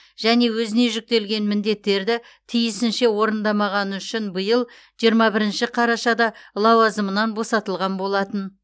және өзіне жүктелген міндеттерді тиісінше орындамағаны үшін биыл жиырма бірінші қарашада лауазымынан босатылған болатын